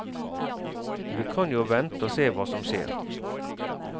Vi kan jo vente og se hva som skjer.